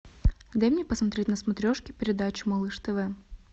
дай мне посмотреть на смотрешке передачу малыш тв